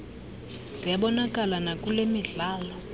ziyabonakala nakule midlalo